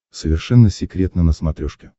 совершенно секретно на смотрешке